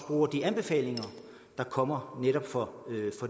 bruger de anbefalinger der kommer netop fra